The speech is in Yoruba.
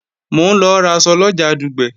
Mò ń lọ raṣọ lọjà Dùgbẹ̀